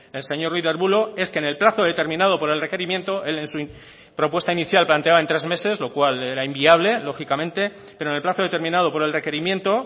el señor ruiz de arbulo es que en el plazo determinado por el requerimiento él en su propuesta inicial planteaba en tres meses lo cual era inviable lógicamente pero en el plazo determinado por el requerimiento